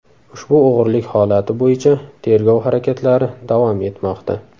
Ushbu o‘g‘rilik holati bo‘yicha tergov harakatlari davom etmoqda.